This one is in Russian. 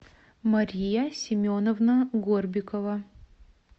мария семеновна горбикова